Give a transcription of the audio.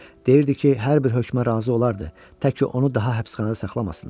Deyirdi ki, hər bir hökmə razı olardı, təki onu daha həbsxanada saxlamasınlar.